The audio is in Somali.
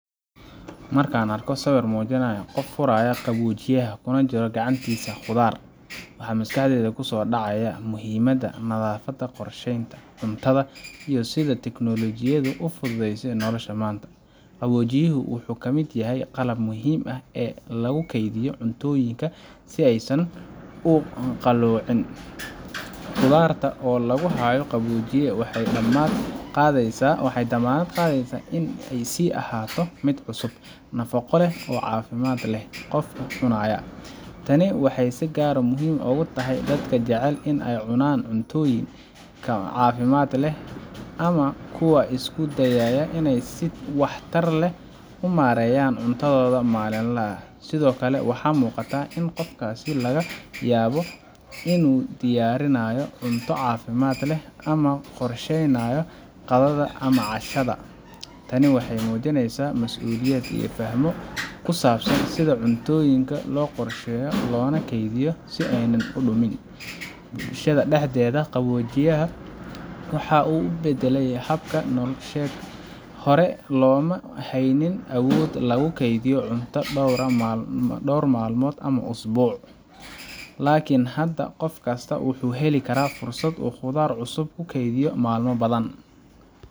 Markan arko sawir mujinaya qof qoraya qawojiyaha gacantisa qudhaar waxaa maskaxdeyda kusodacde muhiimaada nadhafaada qorshenta cuntadha iyo sitha technology u fudhu desa nolosha manta, qawojiyahu wuxuu kamiid yahay qalab muhiim ah ee lagu kedhiyo cuntoyinka si ee u san qalicin, qudhaarta oo lagu hayo qawojiya waxee damaad qadheysa waxee damanaad qadheysa in ee san noqoto miid cusub nafaqo leh oo cafimaad leh, qofkuna wucunaya, tani waxee si gar ah ogu tahay dadka jacel in ee cunan cuntoyinka cafimaad leh ama kuwa isku dayaya si wax tar leh ama mareyan cuntadhoda malin laha, sithokale waxaa miqataa in qofkasi laga yabo in u diyarinayo cunto cafimaad leh ama qorsheynayo qadhaada ama cashaada, tani waxee mujiineysaa mas uliyaad iyo faham ku sabsan sitha cuntoyinka lo qorsheyo lona keydiyo si ee udumin, bulshaada daxdedha qawojiyaha waxaa u badale habka nolsheed hore loma haynin awood lagu keydiyo cunta dor malmood ama isbuc lakin hada qof kasto wuxuu heli karaa fursaad qudhaar cusub u kukedhiyo malmo badan.